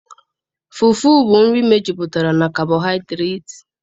Fufu bu nri mejupụtara na kabohidreti